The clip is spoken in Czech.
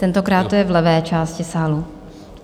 Tentokrát to je v levé části sálu.